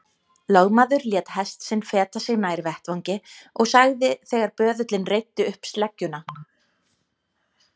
Lögmaður lét hest sinn feta sig nær vettvangi og sagði þegar böðullinn reiddi upp sleggjuna